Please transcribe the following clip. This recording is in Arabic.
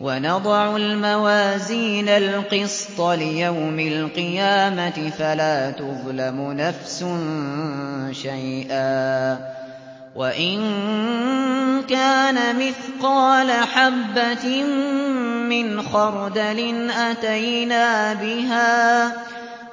وَنَضَعُ الْمَوَازِينَ الْقِسْطَ لِيَوْمِ الْقِيَامَةِ فَلَا تُظْلَمُ نَفْسٌ شَيْئًا ۖ وَإِن كَانَ مِثْقَالَ حَبَّةٍ مِّنْ خَرْدَلٍ أَتَيْنَا بِهَا ۗ